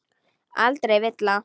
Aldrei villa.